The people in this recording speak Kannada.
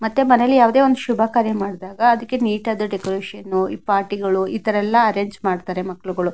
ಮತ್ತೆ ಮನೆಯಲ್ಲಿ ಯಾವುದೇ ಒಂದು ಶುಭ ಕಾರ್ಯ ಮಾಡ್ತಾಗ ಅದಕ್ಕೆ ನೀಟಾದ ಡೆಕೋರೇಷನ್ ಪಾರ್ಟಿಗಳು ಇತರ ಎಲ್ಲ ಅರೆಂಜ್ ಮಾಡುತ್ತಾರೆ ಮಕ್ಕಳಗಳು --